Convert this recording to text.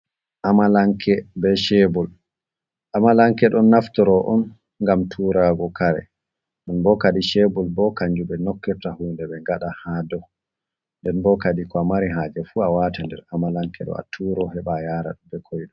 Amalanke ɓe sheɓur ,amalanke ɗon naftoro on gam turago kare ɗun ɓo kare sheɓur ɓo kanjum ɓe nokkita hunɗe ɓe gaɗa ha ɗou ,nɗen ɓo kaɗi ko a mari haje fu a wata nɗer amalanke ɗo a turo heɓa yara ɓe koiɗum.